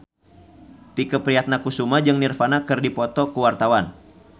Tike Priatnakusuma jeung Nirvana keur dipoto ku wartawan